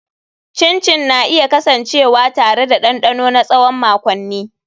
Chin chin na iya kasancewa tare da dandano na tsawon makonni.